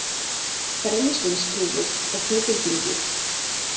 Brennisteinsþúfur á Ketildyngju.